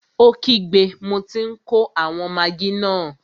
Ó kígbe, mo tí n kó àwọn magí náà!